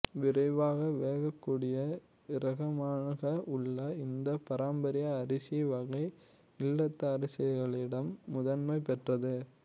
விரைவாக வேகக்கூடிய இரகமாக உள்ள இந்த பாரம்பரிய அரிசி வகை இல்லத்தரசிகளிடம் முதன்மை பெற்றது